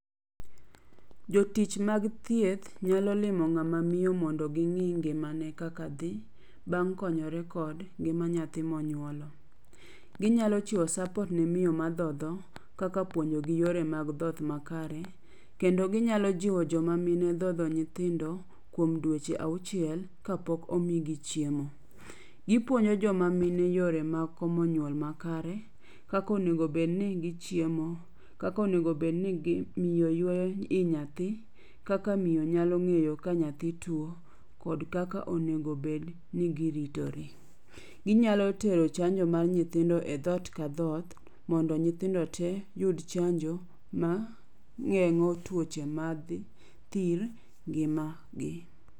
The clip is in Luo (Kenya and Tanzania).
Jotich mag thieth nyalo limo ng'ama miyo mondo gi ng'i ngimane kaka dhi bang' konyore kod ngima nyathi monyuolo. Ginyalo chiwo support ne miyo madhodho kaka puonjogi yore mag dhoth makare, kendo ginyalo jiwo jomamine dhodho nyithindo kuom dweche auchiel, kapok omigi chiemo. Gipuonjo joma mine yore mag komo nyuol makare, kaka onego bed ni gichiemo, kaka onego bed ni miyo yueyo i nyathi, kaka miyo nyalo ng'eyo ka nyathi tuo, kod kaka kod kaka onego bed ni giritore. Ginyalo tero chanjo mar nyithindo e dhoot ka dhoot mondo nyithindo tee oyud chanjo mageng'o tuoche mag thir gi magi.